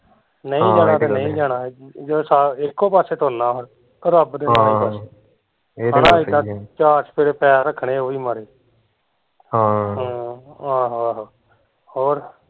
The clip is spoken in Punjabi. ਨਈ ਜਾਣਾ ਤੇ ਨਈ ਜਾਣਾ ਜਦੋਂ ਸਾਰੇ ਇੱਕੋ ਪਾਸੇ ਤੁਰਨਾ ਹੁਣ ਚਾਰ ਚੁਫੇਰੇ ਪੈਰ ਰੱਖਣੇ ਉਹ ਵੀ ਮਾੜੇ ਹਮ ਹਮ ਆਹੋ ਆਹੋ, ਹੋਰ